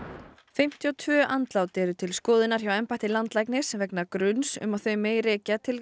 fimmtíu og tvö andlát eru til skoðunar hjá embætti landlæknis vegna gruns um að þau megi rekja til